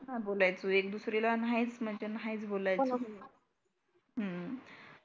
नाही बोलायचो नाहीच म्हणजे नाहीच बोलायचो.